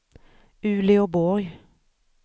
Uleåborg